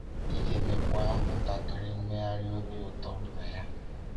Ị ga-enwekwa ntakịrị mmegharị obi ụtọ na ya.